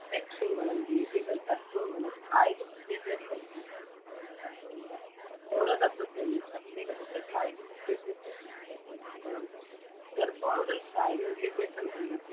ലക്ഷ്യങ്ങളും രീതികളും തത്ത്വങ്ങളും കായിക വിദ്യാഭ്യാസം preschool കുട്ടികളുടെ തത്ത്വങ്ങൾ ഓരോ തത്ത്വത്തിൽ പ്രത്യേകതകൾ കായിക വിദ്യാഭ്യാസ പുത്തൻ ചിലവുകളും ചെറുപ്പം മുതൽ കായിക വിദ്യാഭ്യാസം മുൻ നിർത്തി